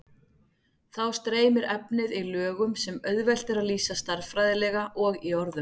Þá streymir efnið í lögum sem auðvelt er að lýsa stærðfræðilega og í orðum.